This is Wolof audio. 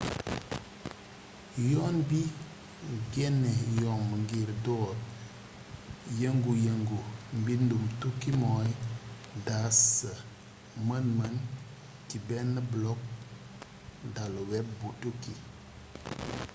yoon bi genne yomb ngir door yëngu yëngu mbindum tukki mooy daas sa mën mën ci bénn blog dalu web bu tukki